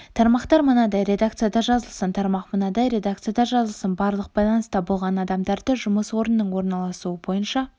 тармақтар мынадай редакцияда жазылсын тармақ мынадай редакцияда жазылсын барлық байланыста болған адамдарды жұмыс орнының орналасуы бойынша